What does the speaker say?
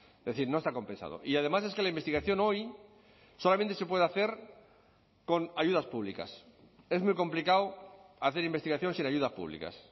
es decir no está compensado y además es que la investigación hoy solamente se puede hacer con ayudas públicas es muy complicado hacer investigación sin ayudas públicas